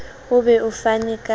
o be o fane ka